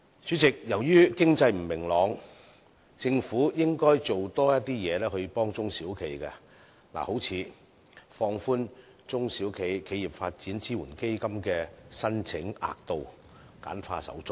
主席，由於經濟不明朗，政府應多做工作來幫助中小企，例如放寬"中小企業發展支援基金"的申請額度，簡化手續。